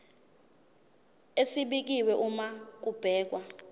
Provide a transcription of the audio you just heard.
esibekiwe uma kubhekwa